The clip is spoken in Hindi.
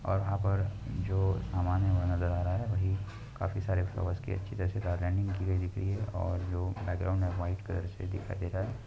और यहा पर जो समान है नजर आ रहा है। वही काफी सारे फ्लावर अच्छी तरह से की दिख रही है और जो बैकग्राउंड वाईट से दिखाई दे रहा है।